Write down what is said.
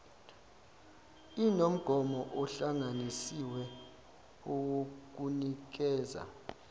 inomgomo ohlanganisiwe owukunikeza